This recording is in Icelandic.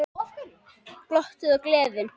Glottið og gleðin.